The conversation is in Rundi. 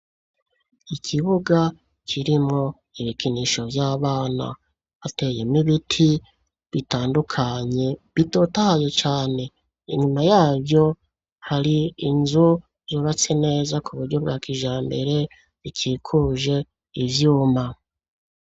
Ikibuga kirimwo ibikinisho vy'abana hateyemwo ibiti bitandukanye bitotahaye cane, inyuma yavyo hari inzu zubatse neza kuburyo bwa kijambere bikikuje ivyuma.